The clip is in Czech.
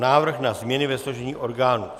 Návrh na změny ve složení orgánů